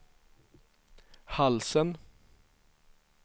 halsen